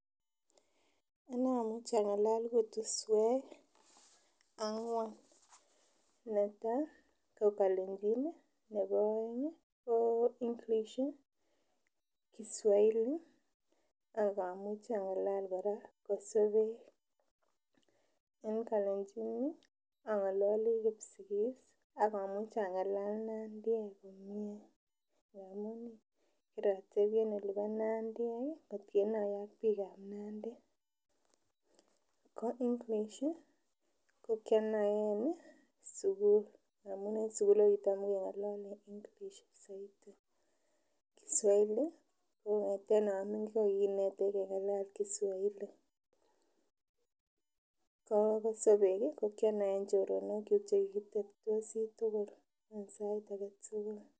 Anee amuchi ang'alal kutusuek ang'wan, netaa ko kalenjin nebo oeng ko English ih, kiswahili ak amuchi ang'alal kora kosobek. En kalenjin ang'aloli kipsigis ak amuchi ang'alal Nandiek komie amun kirotebi en olibo nandiek ih kot kenoye ak biik chebo Nandi. Ko English ko kionoen sugul amun en sugul ko kitam keng'olole English soiti, kiswahili ko kong'eten oming'in kokikinetech kengalal kiswahili ko kosobek ih ko kionoen choronok kyuk chekikitebtosi tugul en sait aketugul.